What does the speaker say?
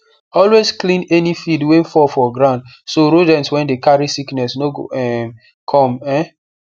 always clean any feed wey fall for ground so rodent wey dey carry sickness no go um come um